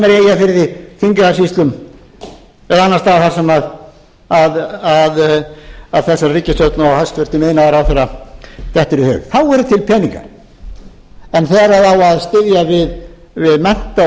sem er í eyjafirði þingeyjarsýslum eða annars staðar þar sem þessi ríkisstjórn og hæstvirtur iðnaðarráðherra dettur í hug þá eru til peningar en þegar á að styðja við mennta og